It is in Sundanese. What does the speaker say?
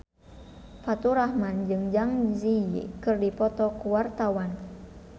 Faturrahman jeung Zang Zi Yi keur dipoto ku wartawan